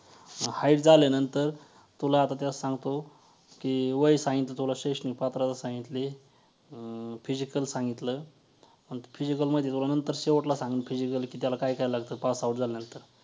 hight झाल्यानंतर तुला आता त्यात सांगतो की वय सांगितलं तुला शैक्षणिक पात्रता सांगितली, अं physical सांगितलं physical मध्ये तुला नंतर शेवटला सांगेन physical की त्याला काय काय लागतं passout झाल्यानंतर